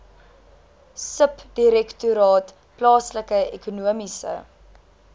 subdirektoraat plaaslike ekonomiese